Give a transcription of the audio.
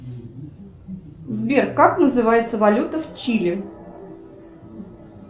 сбер как называется валюта в чили